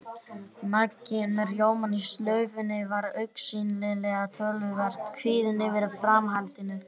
Maggi, enn með rjómann í slaufunni, var augsýnilega töluvert kvíðinn yfir framhaldinu.